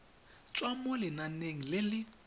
tswa mo lenaneng le le